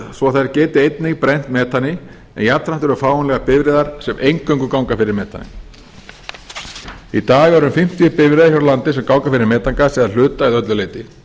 svo þær geti einnig brennt metani en jafnframt eru fáanlegar bifreiðar sem eingöngu ganga fyrir metani í dag eru um fimmtíu bifreiðar hér á landi sem ganga fyrir metangasi að hluta eða öllu leyti